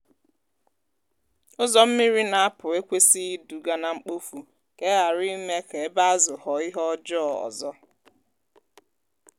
ụzọ mmiri na-apụ ekwesịghị iduga na mkpofu ka e ghara ime ka ebe azụ ghọọ ihe ọjọọ ọzọ.